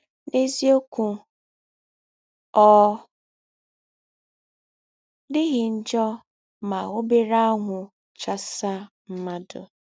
N’eziọkwụ, ọ dịghị njọ ma ọbere anwụ chasa mmadụ.